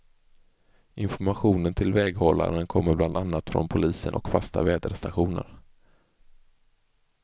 Informationen till väghållaren kommer bland annat från polisen och fasta väderstationer.